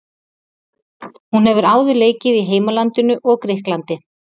Hún hefur áður leikið í heimalandinu og Grikklandi.